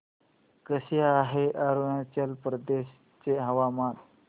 कसे आहे अरुणाचल प्रदेश चे हवामान